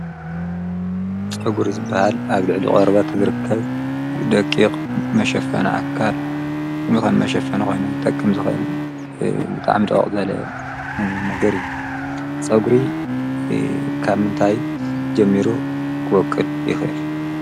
ፀጉሪ ዝበሃል ኣብ ልዕሊ ቆርበት ዝርከብ ደቂቕ መሸፈኒ ኣካል ከም መሸፈኒ ኮይኑ ክጠቅም ከም ዝክእል ብጣዕሚ ድቕቕ ዝበለ ነገር እዩ። ፀጉሪ ካብ ምንታይ ጀሚሩ ክወቅል ይኽእል ?